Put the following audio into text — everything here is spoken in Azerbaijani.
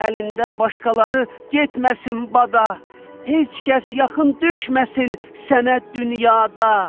Əlində başqaları getməsin bada, heç kəs yaxın düşməsin sənə dünyada.